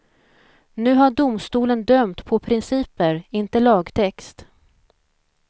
Nu har domstolen dömt på principer, inte lagtext.